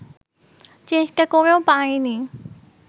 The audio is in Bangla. চেষ্টা করেও পারিনি